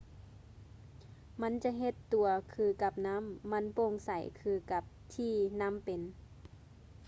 ມັນຈະເຮັດຕົວຄືກັບນໍ້າ ມັນໂປ່ງໃສຄືກັບທີ່ນໍ້າເປັນ